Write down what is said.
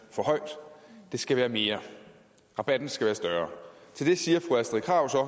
for højt det skal være mere rabatten skal være større til det siger fru astrid krag så at